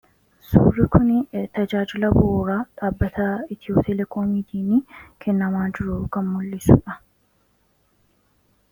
Suurri kun tajaajila bu'uuraa dhaabbata Itiyootelekoomiin kennamaa jiru kan mul'isudha.